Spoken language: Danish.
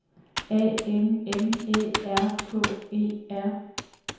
A N M Æ R K E R